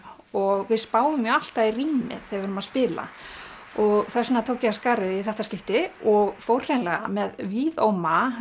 og við spáum alltaf í rýmið þegar við erum að spila og þess vegna tók ég af skarið í þetta skipti og fór hreinlega með víðóma